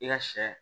I ka sɛ